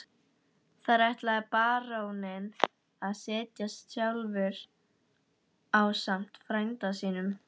Þar ætlaði baróninn að setjast að sjálfur ásamt frænda sínum.